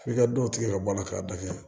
F'i ka dɔ tigɛ ka bɔ a la k'a da kɛ